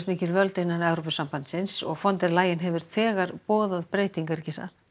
völd innan sambandsins og von der hefur þegar boðað breytingar ekki satt